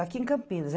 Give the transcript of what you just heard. Aqui em Campinas.